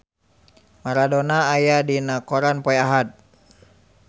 Maradona aya dina koran poe Ahad